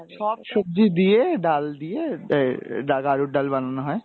সব সবজি দিয়ে ডাল দিয়ে আহ গাড়ুর ডাল বানানো হয়,